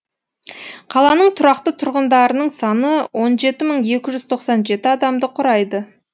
қаланың тұрақты тұрғындарының саны он жеті мың екі жүз тоқсан жеті адамды құрайды